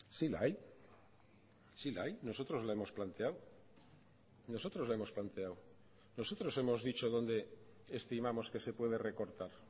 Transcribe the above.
sí la hay sí la hay nosotros la hemos planteado nosotros la hemos planteado nosotros hemos dicho donde estimamos que se puede recortar